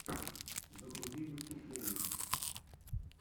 загрузи выступления